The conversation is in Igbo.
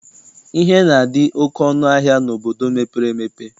Ihe na-adị oke ọnụ ahịa n'obodo mepere emepe.